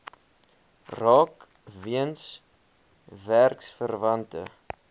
raak weens werksverwante